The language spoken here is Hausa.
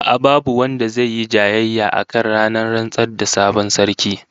A'a, babu wanda zai yi jayayya akan ranar rantsar da sabon sarki